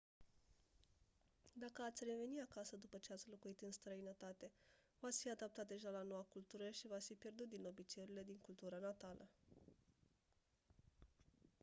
dacă ați reveni acasă după ce ați locuit în străinătate v-ați fi adaptat deja la noua cultură și v-ați fi pierdut din obiceiurile din cultura natală